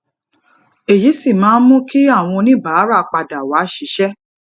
èyí sì máa ń mu ki àwọn oníbàárà pada wa sisè